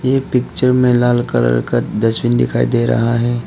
इ पिक्चर में लाल कलर का डस्टबिन दिखाई दे रहा है।